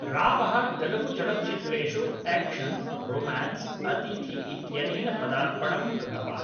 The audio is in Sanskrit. रावः तेलुगुचलच्चित्रेषु एक्शन् रोमान्स् अतिथि इत्यनेन पदार्पणं कृतवान्